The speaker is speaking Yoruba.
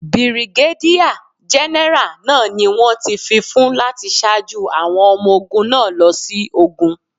Bìrìgádíà gẹ́nẹ́rà náà ni wón ti fífún láti ṣáájú àwọn ọmọ ogún náà lọ sí ogun.